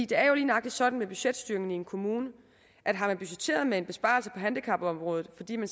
det er jo lige nøjagtig sådan med budgetstyringen i en kommune at har man budgetteret med en besparelse på handicapområdet fordi man